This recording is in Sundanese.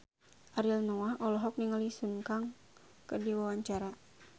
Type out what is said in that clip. Ariel Noah olohok ningali Sun Kang keur diwawancara